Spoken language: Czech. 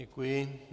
Děkuji.